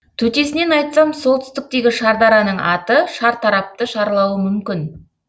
төтесінен айтсам сол түстіктегі шардараның аты шартарапты шарлауы мүмкін